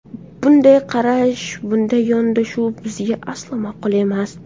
Bunday qarash, bunday yondashuv bizga aslo ma’qul emas.